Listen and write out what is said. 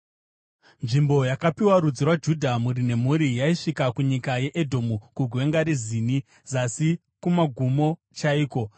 Nzvimbo yakapiwa rudzi rwaJudha, mhuri nemhuri, yaisvika kunyika yeEdhomu kuGwenga reZini zasi kumagumo chaiko.